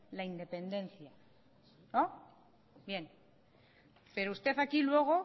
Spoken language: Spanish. la independencia bien pero usted aquí luego